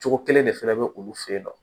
Cogo kelen de fɛnɛ be olu fe yen nɔ